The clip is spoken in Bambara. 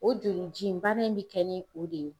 O joli ji in bana in bɛ kɛ ni o de ye.